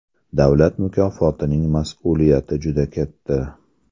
Davlat mukofotining mas’uliyati juda katta.